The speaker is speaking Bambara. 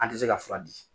An tɛ se ka fura di